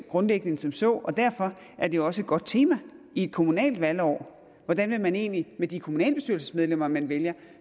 grundlæggende end som så og derfor er det også et godt tema i et kommunalt valgår hvordan man egentlig med de kommunalbestyrelsesmedlemmer man vælger